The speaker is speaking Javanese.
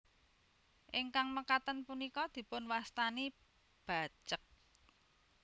Ingkang mekaten punika dipun wastani bacek